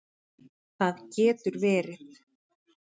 Það getur verið